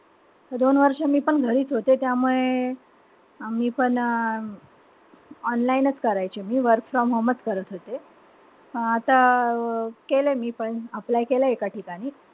दोन वर्ष मीपण घरीच होते. त्यामुळे आम्ही पण online च करायचे. मी work from home च करत होते. आता केलंय मी पण apply केलंय एका ठिकाणी.